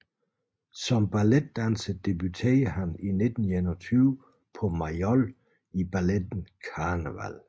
Som balletdanser debuterede han i 1921 på Mayol i balletten Carneval